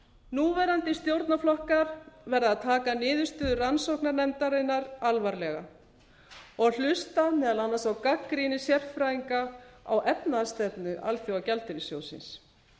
núverandi stjórnarflokkar verða að taka niðurstöðu rannsóknarnefndarinnar alvarlega og hluta meðal annars á gagnrýni sérfræðinga á efnahagsstefna alþjóðagjaldeyrissjóðsins